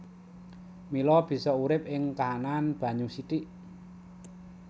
Mila bisa urip ing kaanan banyu sithik